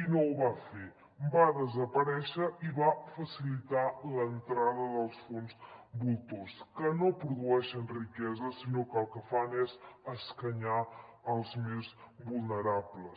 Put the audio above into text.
i no ho va fer va desaparèixer i va facilitar l’entrada dels fons voltors que no produeixen riquesa sinó que el que fan és escanyar els més vulnerables